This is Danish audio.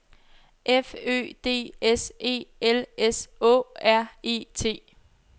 F Ø D S E L S Å R E T